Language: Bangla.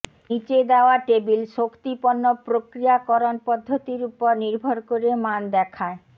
নীচে দেওয়া টেবিল শক্তি পণ্য প্রক্রিয়াকরণ পদ্ধতির উপর নির্ভর করে মান দেখায়